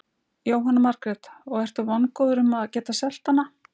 Jóhanna Margrét: Og ertu vongóður að geta selt hana?